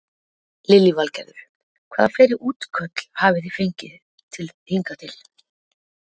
Lillý Valgerður: Hvaða fleiri útköll hafi þið fengið hingað til?